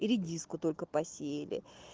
редиску только посеяли